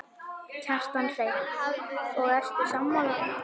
Kjartan Hreinn: Og ertu sammála?